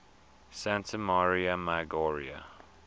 santa maria maggiore